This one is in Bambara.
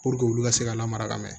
Puruke olu ka se ka lamara ka mɛn